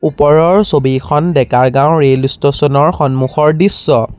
ওপৰৰ ছবিখন ডেকাৰ গাঁৱৰ ৰেল ষ্টোচন ৰ সন্মুখৰ দৃশ্য।